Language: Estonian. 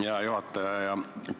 Hea juhataja!